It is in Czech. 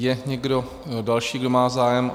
Je někdo další, kdo má zájem?